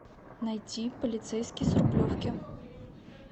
найти полицейский с рублевки